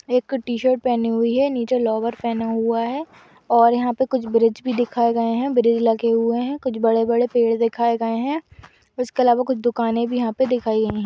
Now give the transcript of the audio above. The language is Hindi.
एक टी शर्ट पहनी हुई है। नीचे लोवर पेहना हुआ है और यहाँ पे कुछ ब्रिज भी दिखाए गए हैं। ब्रिज लगे हुए हैं। कुछ बड़े-बड़े पेड़ दिखाए गए हैं | इसके आलवा कुछ दुकाने भी यहाँ पे दिखाई गई हैं।